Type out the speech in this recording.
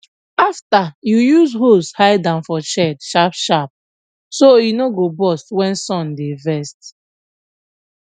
after you use hose hide am for shade sharpsharp so e no go burst when sun dey vex